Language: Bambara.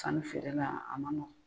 Sanifeere la a ma nɔgɔn.